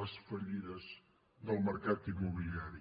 les fallides del mercat immobiliari